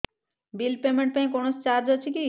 bill payment ପାଇଁ କୌଣସି charge ଅଛି କି